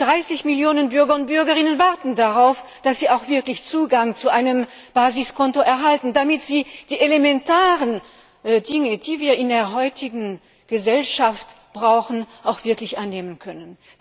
Und 30 Millionen Bürger und Bürgerinnen warten darauf, dass sie auch wirklich Zugang zu einem Basiskonto erhalten, damit sie die elementaren Dinge, die wir in der heutigen Gesellschaft brauchen, erledigen können.